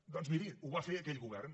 doncs miri ho va fer aquell govern